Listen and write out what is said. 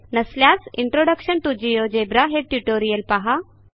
नसल्यास introduction to GeoGebra हे tutorial पहा